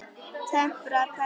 Temprað belti.